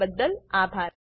જોડાવા બદ્દલ આભાર